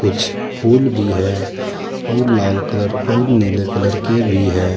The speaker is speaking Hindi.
कुछ फूल भी है और लाल कलर और नीले कलर के भी हैं।